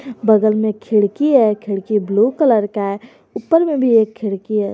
बगल में खिड़की है खिड़की ब्लू कलर का है ऊपर में भी एक खिड़की है।